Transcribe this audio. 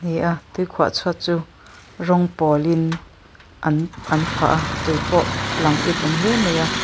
ni a tui khuah chhuat chu rawng pawlin an an phah a tui pawh a lang itawm hle mai a.